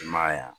I ma ye wa